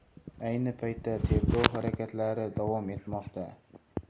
Ayni paytda tergov harakatlari davom etmoqda.